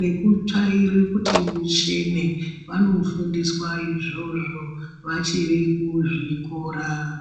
nekutsvaira kuti muchene vanofundiswa izvozvo vachiri kuzvikora